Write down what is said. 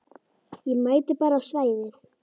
Ég mæti bara á svæðið.